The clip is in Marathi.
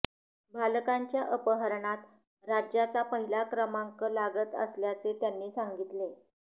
बालकांच्या अपहरणात राज्याचा पहिला क्रमांक लागत असल्याचे त्यांनी सांगितले